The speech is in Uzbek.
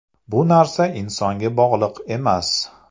Bu narsa insonga bog‘liq emas.